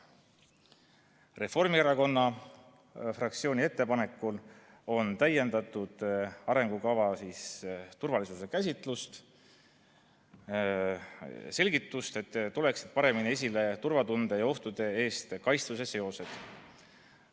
Reformierakonna fraktsiooni ettepanekul on täiendatud arengukava turvalisuse käsitlust, selgitus on, et tuleksid paremini esile turvatunde ja ohtude eest kaitstuse seosed.